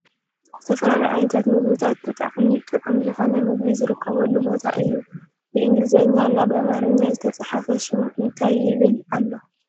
ዝተፈላለዩ ዓይነታት ምግብታት ብጣዕሙ ጥዑም ዝኮነ ምግቢ ዝርከበሉ ቦታ እዩ ። ብኢንግልዘኛ እና ብኣማርና ዝተፅሓፈ ሽሙ እንታይ ይብል ኣሎ ?